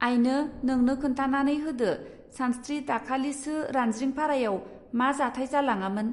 आइनो नोंनो खोन्थानानै होदो सानस्त्रि दाखालिसो रानज्रिंफारायाव मा जाथाय जालाङामोन!.